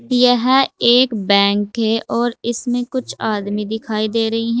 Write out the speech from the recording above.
यह एक बैंक है और इसमें कुछ आदमी दिखाई दे रही हैं।